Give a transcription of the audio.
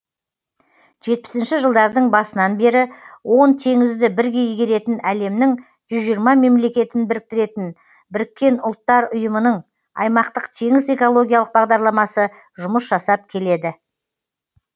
жетпісінші жылдардың басынан бері он теңізді бірге игеретін әлемнің жүз жиырма мемлекетін біріктіретін біріккен ұлттар ұйымының аймақтық теңіз экологиялық бағдарламасы жұмыс жасап келеді